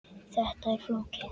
Þetta er flókið.